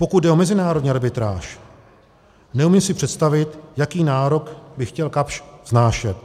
Pokud jde o mezinárodní arbitráž, neumím si představit, jaký nárok by chtěl Kapsch vznášet.